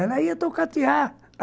Ela ia tocatear.